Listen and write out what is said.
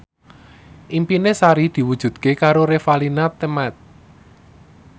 impine Sari diwujudke karo Revalina Temat